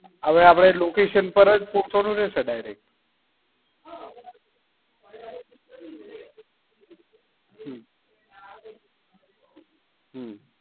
અવે આપડે location પર જ પહોંચવાનું રહેશે ને direct હમ હમ